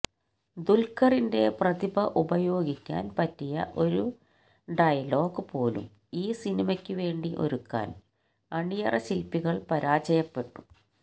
ദുൽഖറിന്റെ പ്രതിഭ ഉപയോഗിക്കാൻ പറ്റിയ ഒരു ഡയലോഗ് പോലും ഈ സിനിമയ്ക്കുവേണ്ടി ഒരുക്കാൻ അണിയറ ശില്പികൾ പരാജയപ്പെട്ടു